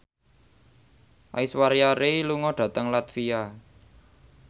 Aishwarya Rai lunga dhateng latvia